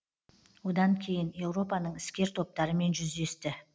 одан кейін еуропаның іскер топтарымен жүздесті